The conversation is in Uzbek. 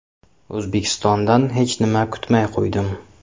O‘zbekistondan hech nima kutmay qo‘ydim.